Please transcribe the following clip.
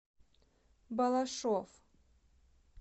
балашов